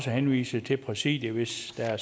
henvise til præsidiet hvis der